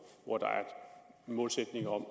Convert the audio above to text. hvor der er en målsætning om at